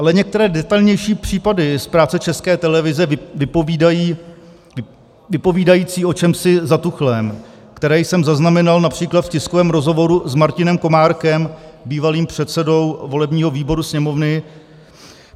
Ale některé detailnější případy z práce České televize vypovídají o čemsi zatuchlém, které jsem zaznamenal například v tiskovém rozhovoru s Martinem Komárkem, bývalým předsedou volebního výboru Sněmovny.